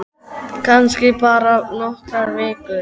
Kannski bara nokkrar vikur.